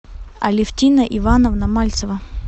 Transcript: алефтина ивановна мальцева